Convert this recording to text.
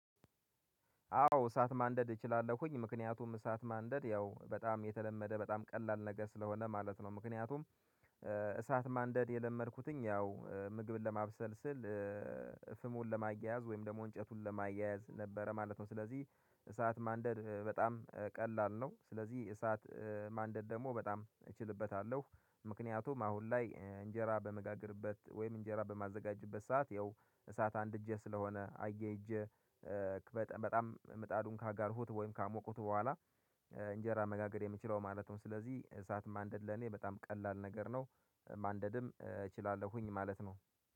አዎ እሳት ማንደድ እችላለሁኝ ምክንያቱም እሳት ማንደድ ያው በጣም የተለመደ በጣም ቀላል ነገር ስለሆነ ማለት ነው። ምክንያቱም እሳት ማንደድ የለመድኩትኝ ያው ምግብን ለማብሰል ስል። ፍሙን ለማያያዝ ወይም ደግሞ እንጨቱን ለማያያዝ ነበረ ማለት ነው። ስለዚህ እሳት ማንደድ በጣም ቀላል ነው። ስለዚህ እሳት ማንደድ ደግሞ በጣም እችልበታለሁ ምክንያቱም አሁን ላይ እንጀራ በምጋገርበት ወይም እንጀራ በማዘጋጀበት ሰዓት ያው እሳት አንድ እጄ ስለሆነ አያሄጄ። በጣም ምጣዱን ካጋልሁት ወይም ካሞቁት በኋላ እንጀራ መጋገር የምችለው ማለት ነው። ስለዚህ እሳት ማንደድ ለኔ በጣም ቀላል ነገር ነው። ማንደድም እችላለሁኝ ማለት ነው።